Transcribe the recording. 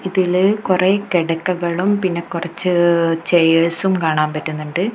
ഇതില് കുറേ കിടക്കകളും പിന്നേ കുറച്ച് ചെയർസും കാണാൻ പറ്റുന്നുണ്ട്.